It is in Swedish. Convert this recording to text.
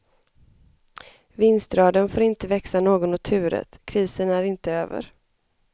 Vinstraden får inte växa någon åt huvudet, krisen är inte över.